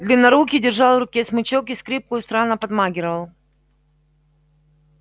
длиннорукий держал в руке смычок и скрипку и странно подмаргивал